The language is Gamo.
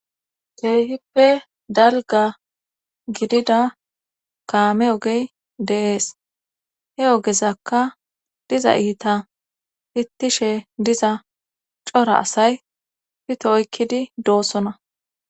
Keehippe dalga gidida kaame ogey deees he ogezakka diza iita hittishe diza cora asay pito oykkidi doossona